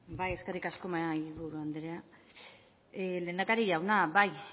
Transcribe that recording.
bai eskerrik asko mahaiburu andrea lehendakari jauna bai